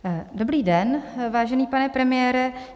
Dobrý den, vážený pane premiére.